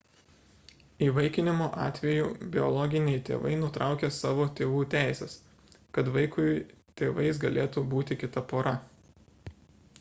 įvaikinimo atveju biologiniai tėvai nutraukia savo tėvų teises kad vaikui tėvais galėtų būti kita pora